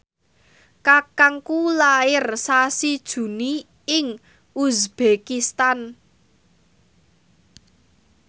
kakangku lair sasi Juni ing uzbekistan